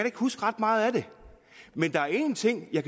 ikke huske ret meget af det men der er én ting jeg